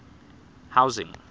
housing